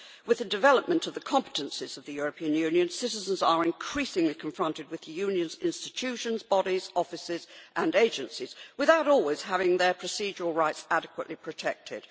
With the development of the competences of the European Union, citizens are increasingly confronted with the Union's institutions, bodies, offices and agencies without always having their procedural rights adequately protected.